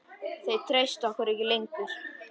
Þeir treysta okkur ekki lengur.